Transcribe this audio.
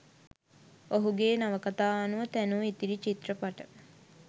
ඔහුගේ නවකතා අනුව තැනූ ඉතිරි චිත්‍රපට